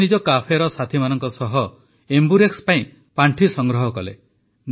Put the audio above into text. ସେ ନିଜ କାଫେର ସାଥୀମାନଙ୍କ ସହ ଏମ୍ବୁରେକ୍ସ ପାଇଁ ପାଣ୍ଠି ସଂଗ୍ରହ କଲେ